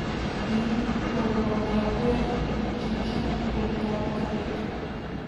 In, ko je bilo najhuje, vročičen goltal tablete.